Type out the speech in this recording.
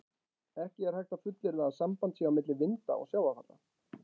Ekki er hægt að fullyrða að samband sé á milli vinda og sjávarfalla.